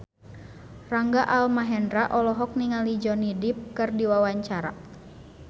Rangga Almahendra olohok ningali Johnny Depp keur diwawancara